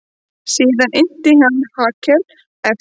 Síðan innti hann Hallkel eftir því hvort hann hygðist hafa siðaskipti.